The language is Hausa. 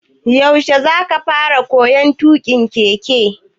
Yaushe za ka fara koyon tuƙin keke?